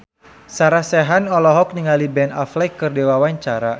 Sarah Sechan olohok ningali Ben Affleck keur diwawancara